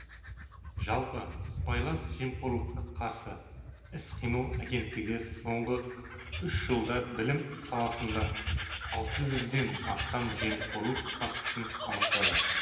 жалпы сыбайлас жемқорлыққа қарсы іс қимыл агенттігі соңғы үш жылда білім саласында алты жүзден астам жемқорлық фактісін анықтады